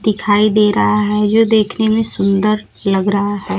दिखाई दे रहा है जो देखने में सुंदर लग रहा है।